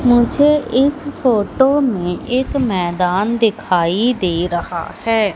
मुझे इस फोटो में एक मैदान दिखाई दे रहा है।